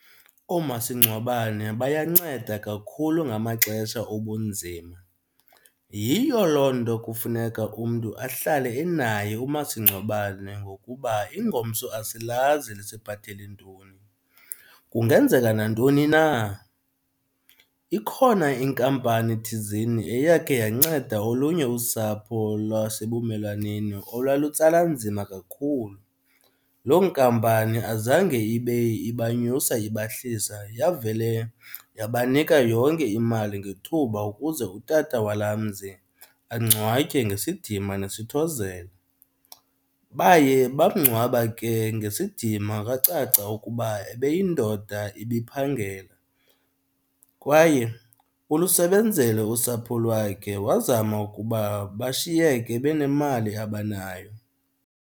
Oomasingcwabane bayanceda kakhulu ngamaxesha obunzima, yiyo loo nto kufuneka umntu ahlale enaye umasingcwabane ngokuba ingomso asilazi lisiphathele ntoni kungenzeka nantoni na. Ikhona inkampani thizeni eyakhe yanceda olunye usapho lwasebumelwaneni olwalutsala nzima kakhulu. Loo nkampani azange ibe ibanyusa ibahlisa yavele yabanika yonke imali ngethuba ukuze utata walaa mzi angcwatywe ngesidima nesithozelo. Baye bamngcwaba ke ngesidima kwacaca ukuba ebeyindoda ibiphangela kwaye ulusebenzele usapho lwakhe wazama ukuba bashiyeke benemali abanayo.